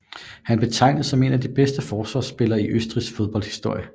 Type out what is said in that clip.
Han betegens som en af de bedste forsvarsspillere i Østrigs fodboldhistorie